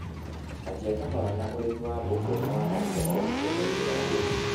Anjia kahora na ũrĩmi wa mbũkũ na waramie o ũkĩongagĩrĩra ũgĩ